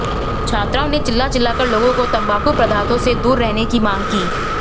छात्राओं ने चिल्ला चिल्ला कर लोगों को तंबाकू पदार्थों से दूर रहने की मांग की